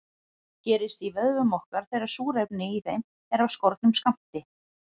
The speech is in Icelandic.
Hún gerist í vöðvum okkar þegar súrefni í þeim er af skornum skammti.